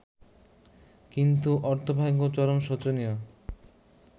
কিন্তু অর্থভাগ্য চরম শোচনীয়।